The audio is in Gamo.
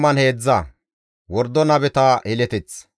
GODAA qaalay taakko yiidi,